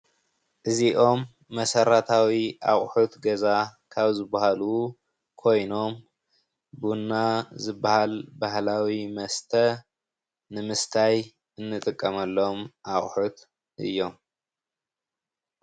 እዚኦም መሰረታዊ ኣቑሑት ገዛ ካብ ዝበሃሉ ኾይኖም ቡና ዝበሃል ባህላዊ መስተ ንምስታይ እንጥቀመሎም ኣቑሑት እዮም።